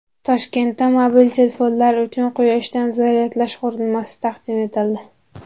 Toshkentda mobil telefonlar uchun quyoshdan zaryadlash qurilmasi taqdim etildi.